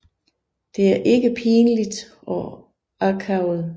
Det er ikke pinligt og akavet